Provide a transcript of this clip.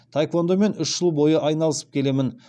таеквондомен үш жыл бойы айналысып келемін